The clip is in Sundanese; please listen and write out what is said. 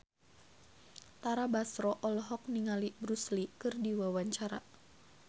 Tara Basro olohok ningali Bruce Lee keur diwawancara